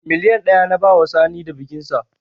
Miliyan ɗaya na bawa Sani da bikinsa